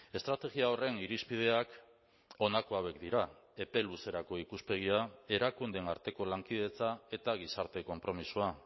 estrategia horren irizpideak honako hauek dira epe luzerako ikuspegia erakundeen arteko lankidetza eta gizarte konpromisoa